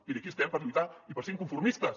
miri aquí estem per lluitar i per ser inconformistes